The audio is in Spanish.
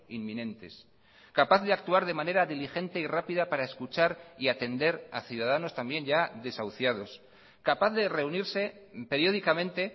inminentes capaz de actuar de manera diligente y rápida para escuchar y atender a ciudadanos también ya desahuciados capaz de reunirse periódicamente